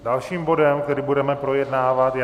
Dalším bodem, který budeme projednávat, je